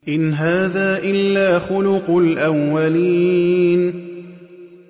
إِنْ هَٰذَا إِلَّا خُلُقُ الْأَوَّلِينَ